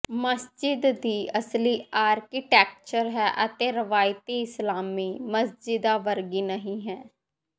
ਮਸਜਿਦ ਦੀ ਅਸਲੀ ਆਰਕੀਟੈਕਚਰ ਹੈ ਅਤੇ ਰਵਾਇਤੀ ਇਸਲਾਮੀ ਮਸਜਿਦਾਂ ਵਰਗੀ ਨਹੀਂ ਹੈ